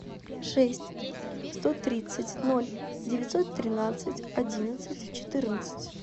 шесть сто тридцать ноль девятьсот тринадцать одиннадцать четырнадцать